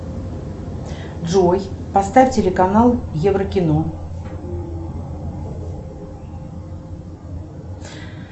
джой поставь телеканал еврокино